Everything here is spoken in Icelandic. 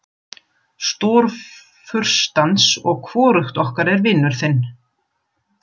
Stórfurstans og hvorugt okkar er vinur þinn.